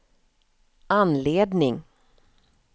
anledning